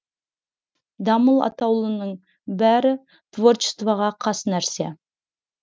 дамыл атаулының бәрі творчествоға қас нәрсе